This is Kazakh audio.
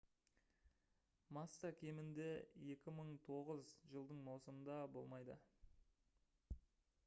масса кемінде 2009 жылдың маусымында болмайды